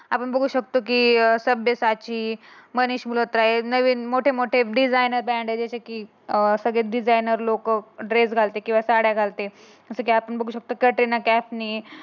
आपण बघू शकतो की शब्दसाची मनी झूलत राय मोठे मोठे डिझाईन जस की अं सगळे डिझाईन लोक ड्रेसेस घालते किंवा साड्या घालते. जसं की आपण बघू शकतो. कटरीना कैफ ने